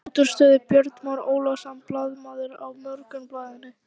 Langt útúr stöðu Björn Már Ólafsson, blaðamaður á Morgunblaðinu.